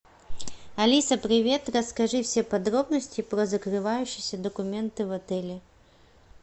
алиса привет расскажи все подробности про закрывающиеся документы в отеле